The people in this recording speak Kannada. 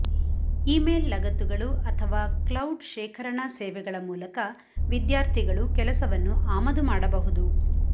ಇಮೇಲ್ ಲಗತ್ತುಗಳು ಅಥವಾ ಕ್ಲೌಡ್ ಶೇಖರಣಾ ಸೇವೆಗಳ ಮೂಲಕ ವಿದ್ಯಾರ್ಥಿಗಳು ಕೆಲಸವನ್ನು ಆಮದು ಮಾಡಬಹುದು